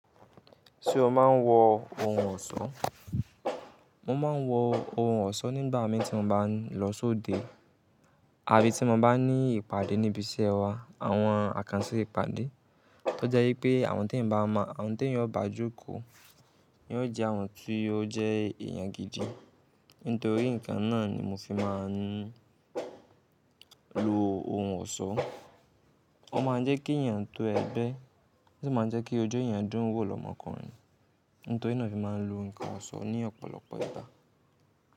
Ṣé o máa ń wọ ohun ọ̀ṣọ́? Mo máa ń wọ ohun ọ̀ṣọ́ nígbà mì tí mo bá ń lọ sóde àbí tí mo bá ní ìpàdé níbi iṣẹ́ wa, àwọn àkànṣe ìpàdé tó jẹ́ wípé àwọn tí ń bá mọ̀, àwọn tí ń yóò bá jòkó ni ó jẹ́ àwọn tí ó jẹ́ èèyàn gidi. Nítorí nǹkan náà ni mo fi máa ń lo ohun ọ̀ṣọ́. Ó máa ń jẹ́ kí ẹ̀yàn tó ẹgbẹ́, ṣùgbọ́n máa ń jẹ́ kí ojú ẹ̀yàn dún wò lọ́mọkùnrin. Nítorí náà ni mo fi máa ń lo ǹkan ọ̀ṣọ́ ní ọ̀pọ̀lọpọ̀ ìgbà.